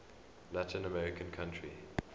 latin american country